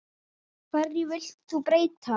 Hverju vilt þú breyta?